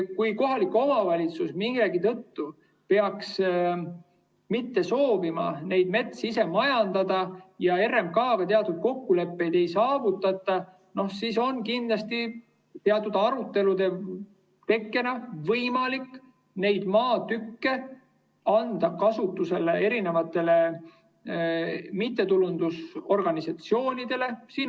Kui kohalik omavalitsus millegi tõttu peaks mitte soovima seda metsa ise majandada ja RMK‑ga kokkuleppeid ei saavutata, siis on kindlasti teatud arutelude tekke järel võimalik neid maatükke anda kasutusele mittetulundusorganisatsioonidele.